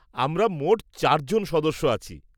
আমরা মোট চার জন সদস্য আছি।